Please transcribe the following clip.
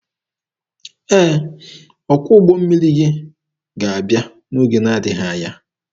Ee, ọkwọ ụgbọ mmiri gị ga-abịa n'oge na-adịghị anya.